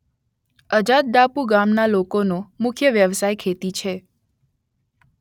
અજાદદાપુ ગામના લોકોનો મુખ્ય વ્યવસાય ખેતી છે